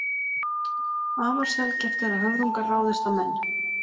Afar sjaldgæft er að höfrungar ráðist á menn.